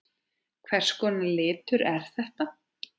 Hvers konar litur er þetta?